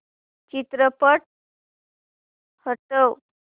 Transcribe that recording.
चित्रपट हटव